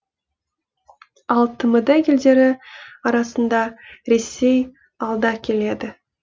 ал тмд елдері арасында ресей алда келеді